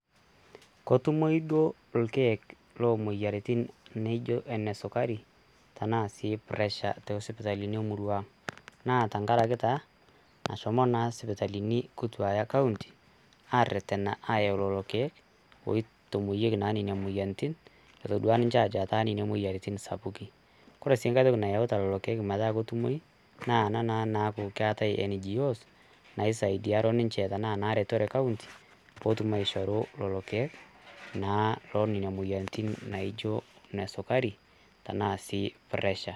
ketumoi duo orkiek lo moyiarritin nijo enesukari anaa sii pressure tee sipitalini emurruaang' naa teng'araki taa nashomo naa sipitali kutua ee kaunti aareten aayau lelo irkiek oitoimoyeki naa moyiarritin etodua ninche aajo etaa nenia moyiarritin sapuki, kore sii nkae toki nayeuta lelo irkiek metaa ketumoi naa ena naaku keatae ngo's naisaidaro ninche tena naa eretore kaunti pootum aisharu lelo irkiek naa lee lelo moyiarritin naijo nesukari tanaa sii pressure.